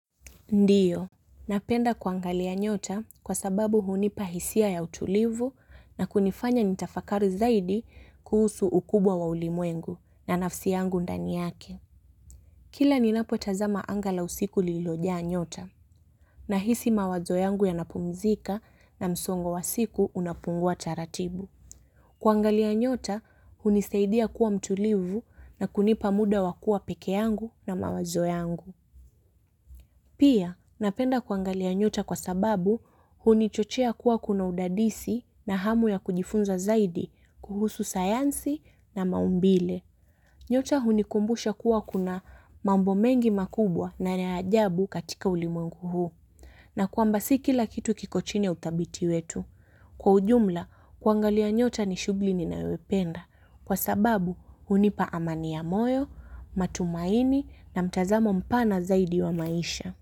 Ndiyo, napenda kuangalia nyota kwa sababu hunipa hisia ya utulivu na kunifanya nitafakari zaidi kuhusu ukubwa wa ulimwengu na nafsi yangu ndani yake. Kila ninapotazama anga la usiku lililo jaa nyota nahisi mawazo yangu yanapumzika na msongo wa siku unapumua taratibu. Kuangalia nyota, hunisaidia kuwa mtulivu na kunipa muda wakuwa peke yangu na mawazo yangu. Pia, napenda kuangalia nyota kwa sababu huni chochea kuwa kuna udadisi na hamu ya kujifunza zaidi kuhusu sayansi na maumbile. Nyota huni kumbusha kuwa kuna mambo mengi makubwa na naajabu katika ulimungu huu. Na kuamba si kila kitu kiko chini uthabiti wetu. Kwa ujumla, kuangalia nyota ni shugli ninayoipenda kwa sababu hunipa amani ya moyo, matumaini na mtazamo mpana zaidi wa maisha.